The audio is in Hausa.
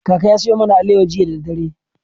Kaka ya sayo mana alewa jiya da dare.